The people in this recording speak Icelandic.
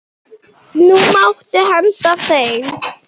Nú máttu henda þeim.